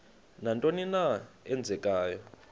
nantoni na eenzekayo